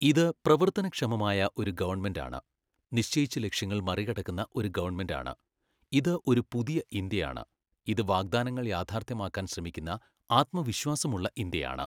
ഇത് പ്രവർത്തനക്ഷമമായ ഒരു ഗവൺമെന്റാണ്, നിശ്ചയിച്ച ലക്ഷ്യങ്ങൾ മറികടക്കുന്ന ഒരു ഗവൺമെന്റാണ്, ഇത് ഒരു പുതിയ ഇന്ത്യയാണ്, ഇത് വാഗ്ദാനങ്ങൾ യാഥാർത്ഥ്യമാക്കാൻ ശ്രമിക്കുന്ന ആത്മവിശ്വാസമുള്ള ഇന്ത്യയാണ്.